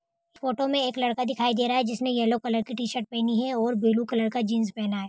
Photo में एक लड़का दिखाई दे रहा है जिस ने येलो कलर की टीशर्ट पहनी है और ब्लू कलर का जीन्स पहेना है।